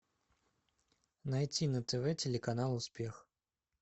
найти на тв телеканал успех